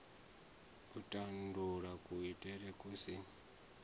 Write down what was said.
u tandulula kuitele ku si